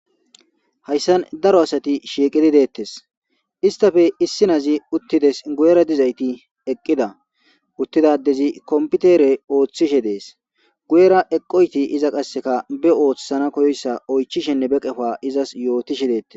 Haysan daro asati shiqidi dettes istape issinozi uttides guyera dizayti eqqida uttida adezi kompitere oothishe dees. Guyera hara adey qaseka be othisanaysa oychishenne be qopa izas yootishe dees.